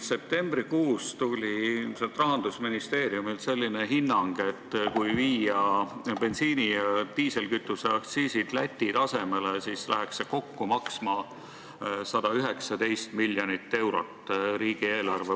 Septembrikuus tuli ilmselt Rahandusministeeriumilt selline hinnang, et kui viia bensiini ja diislikütuse aktsiisid Läti tasemele, siis läheks see riigieelarve mõistes maksma kokku 119 miljonit eurot.